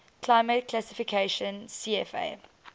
climate classification cfa